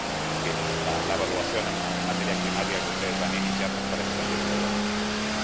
En fin, la evaluación en materia climática que ustedes van a iniciar nos parece también una buena iniciativa.